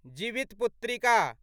Jivitputrika